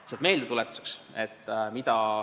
Lihtsalt meeldetuletuseks.